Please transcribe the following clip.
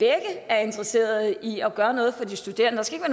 er interesserede i at gøre noget for de studerende der skal